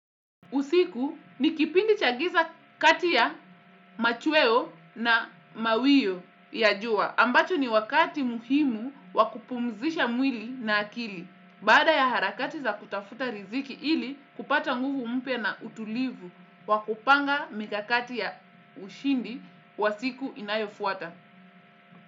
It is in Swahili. Usiku ni kipindi chagiza kati ya machweo na mawio ya jua, ambacho ni wakati muhimu wakupumzisha mwili na akili. Baada ya harakati za kutafuta riziki ili kupata nguvu mpya na utulivu wakupanga mikakati ya ushindi wa siku inayofuata.